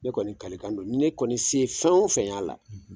Ne kɔni kalikan don ni ne kɔni se ye fɛn o fɛn y'a la.